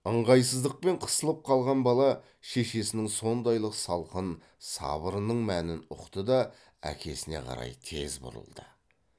ыңғайсыздықпен қысылып қалған бала шешесінің сондайлық салқын сабырының мәнін ұқты да әкесіне қарай тез бұрылды